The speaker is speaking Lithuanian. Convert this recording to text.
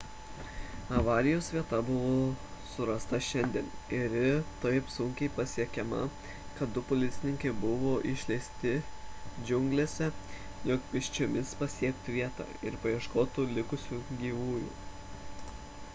avarijos vieta buvo surasta šiandien ir ji taip sunkiai pasiekiama kad du policininkai buvo išleisti džiunglėse jog pėsčiomis pasiektų vietą ir paieškotų likusių gyvųjų